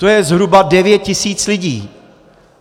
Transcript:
To je zhruba 9 tisíc lidí.